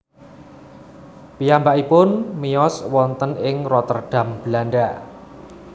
Piyambakipun miyos wonten ing Rotterdam Belanda